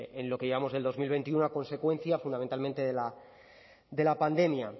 en lo que llevamos de dos mil veintiuno a consecuencia fundamentalmente de la pandemia